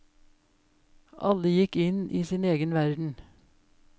Alle gikk inn i sin egen verden.